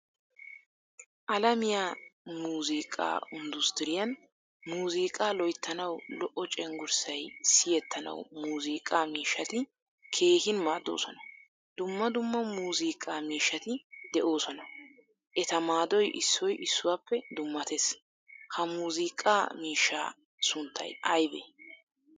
Alamiyaa muuzziqqa undustriiyan muuzziqqa loyttanawu lo"o cenggurssay siyettanawu muuzziiqqa miishshatti keehin maaddosona. Dumma dumma muuzziqqaa miishshatti deosona. Etta maadoy issoy issuwappe dummatees. Ha miuuzziqqa miishshaa sunttay aybee?